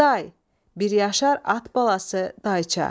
Day, bir yaşar at balası, dayça.